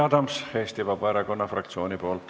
Jüri Adams Eesti Vabaerakonna fraktsiooni nimel.